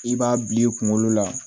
I b'a bil'i kunkolo la